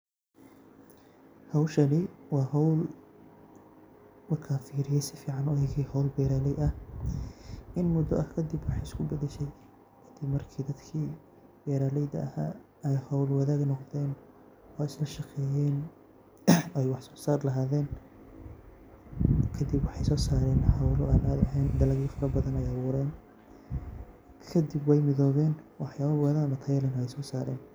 Howshani wa howl markan sifican ufiriye howl beraley ah. In mudo ah kadib wexey iskubadashe hade marki dadki beraleyda aha ey howl wadag noqden ee islashaqeyen ey wax sosar lahaden kadib wexey sosaren howl an cadii ehen, dalag fara badan ayey aburan kadib wey midowen waxyalo badan oo tayo leeh ayey sosaren.